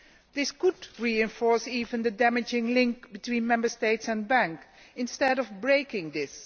This could even reinforce the damaging link between Member States and banks, instead of breaking this.